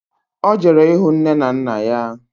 Ọ jere ịhụ nne na nna ya